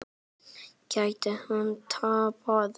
Getur hann tapað!